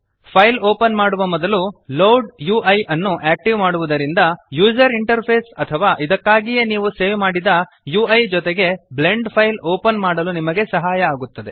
file open ಮಾಡುವ ಮೊದಲು load UI ನ್ನು ಆಕ್ಟಿವೇಟ್ ಮಾಡುವದರಿಂದ ಯೂಸರ್ ಇಂಟರ್ಫೇಸ್ ಅಥವಾ ಇದಕ್ಕಾಗಿಯೇ ನೀವು ಸೇವ್ ಮಾಡಿದ ಯುಇ ಜೊತೆಗೆ ಬ್ಲೆಂಡ್ ಫೈಲ್ ಓಪನ್ ಮಾಡಲು ನಿಮಗೆ ಸಹಾಯ ಆಗುತ್ತದೆ